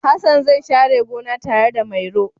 Hassan zai share gona tare da Mairo.